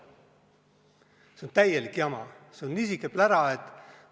See on täielik jama, see on niisugune plära, et ...